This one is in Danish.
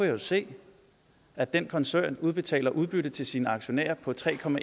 jo se at den koncern udbetaler udbytte til sine aktionærer på tre